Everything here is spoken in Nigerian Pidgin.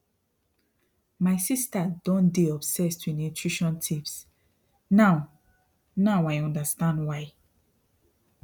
my sister don dey obsessed with nutrition tips now now i understand why